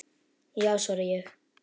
Já svara ég.